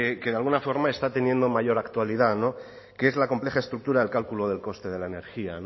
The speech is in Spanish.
que de alguna forma está teniendo mayor actualidad que es la compleja estructura del cálculo del coste de la energía